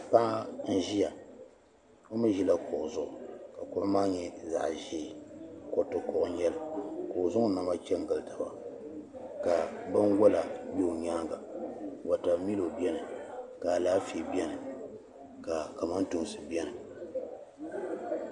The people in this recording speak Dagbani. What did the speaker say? Paɣa n ʒiya o mi ʒila kuɣi zuɣu ka kuɣi maa nyɛ zaɣ'ʒee kuriti kuɣi nyɛli ka o zaŋ o naba chani gilitaba ka binwala bɛ o nyaaŋa watamilo bɛni ka alaafee bɛni ka kamatoonsi bɛni.